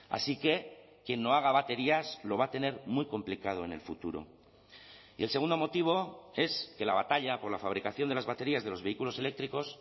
así que quien no haga baterías lo va a tener muy complicado en el futuro y el segundo motivo es que la batalla por la fabricación de las baterías de los vehículos eléctricos